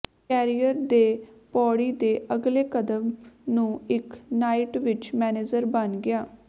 career ਦੇ ਪੌੜੀ ਦੇ ਅਗਲੇ ਕਦਮ ਨੂੰ ਇੱਕ ਨਾਈਟ ਵਿਚ ਮੈਨੇਜਰ ਬਣ ਗਿਆ